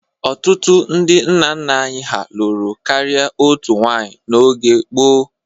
Ọtụtụ ndị nna nna anyị ha lụrụ karịa otu nwaanyị n'oge gboo.